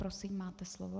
Prosím, máte slovo.